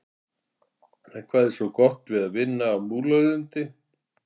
En hvað er svona gott við að vinna á Múlalundi?